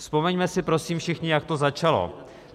Vzpomeňme si prosím všichni, jak to začalo.